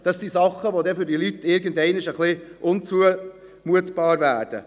Das sind Dinge, die für die Leute auf Dauer auch etwas unzumutbar werden.